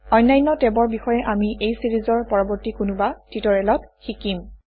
অন্যান্য টেবৰ বিষয়ে আমি এই চিৰিজৰ পৰৱৰ্তী কোনোবা টিউটৰিয়েলত শিকিম